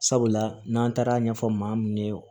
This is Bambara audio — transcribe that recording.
Sabula n'an taara ɲɛfɔ maa mun ye